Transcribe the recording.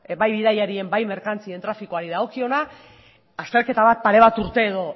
bai bidaiarien ba merkantzien trafiko dagokiona azterketa bat pare bat urte edo